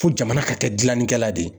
Fo jamana ka kɛ gilannikɛla de ye.